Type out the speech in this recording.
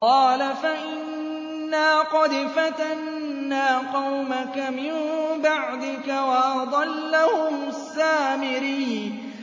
قَالَ فَإِنَّا قَدْ فَتَنَّا قَوْمَكَ مِن بَعْدِكَ وَأَضَلَّهُمُ السَّامِرِيُّ